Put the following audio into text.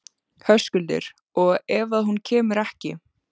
Höskuldur: Og ef að hún kemur ekki?